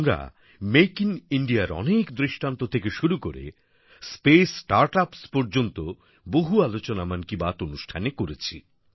আমরা make in Indiaর অনেক দৃষ্টান্ত থেকে শুরু করে স্পেস স্টার্টআপস পর্যন্ত বহু আলোচনা মন কি বাত অনুষ্ঠানে করেছি